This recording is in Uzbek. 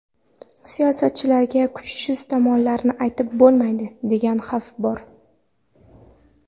Siyosatchilarga kuchsiz tomonlarni aytib bo‘lmaydi, degan xavf bor.